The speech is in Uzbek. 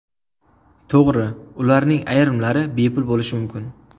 To‘g‘ri, ularning ayrimlari bepul bo‘lishi mumkin.